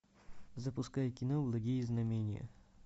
запускай кино благие знамения